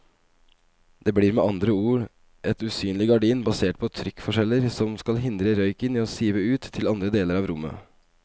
Det blir med andre ord et usynlig gardin basert på trykkforskjeller som skal hindre røyken i å sive ut til andre deler av rommet.